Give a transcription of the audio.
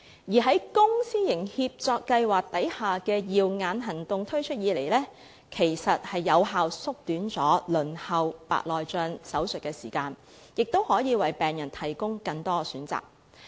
自公私營協作計劃下的"耀眼行動"推出以來，有效縮短了白內障手術的輪候時間，亦可以為病人提供更多選擇。